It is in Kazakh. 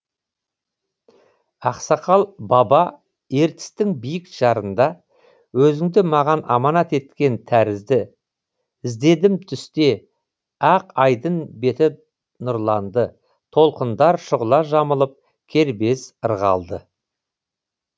ақсақал баба ертістің биік жарында өзіңді маған аманат еткен тәрізді іздедім түсте ақ айдын беті нұрланды толқындар шұғыла жамылып кербез ырғалды